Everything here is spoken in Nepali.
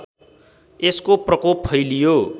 यसको प्रकोप फैलियो